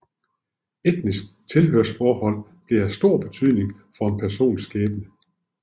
Etnisk tilhørsforhold blev af stor betydning for en persons skæbne